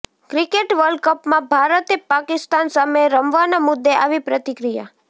cricket વર્લ્ડકપમાં ભારતે પાકિસ્તાન સામે રમવાના મુદ્દે આવી પ્રતિક્રિયા